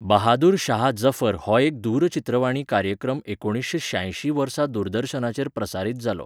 बहादुर शाह जफर हो एक दूरचित्रवाणी कार्यक्रम एकुणीसशें श्यायशीं वर्सा दूरदर्शनाचेर प्रसारीत जालो.